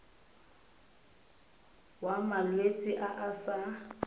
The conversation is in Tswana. wa malwetse a a sa